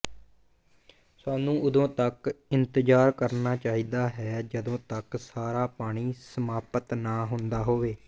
ਸਾਨੂੰ ਉਦੋਂ ਤਕ ਇੰਤਜ਼ਾਰ ਕਰਨਾ ਚਾਹੀਦਾ ਹੈ ਜਦੋਂ ਤੱਕ ਸਾਰਾ ਪਾਣੀ ਸਮਾਪਤ ਨਾ ਹੁੰਦਾ ਹੋਵੇ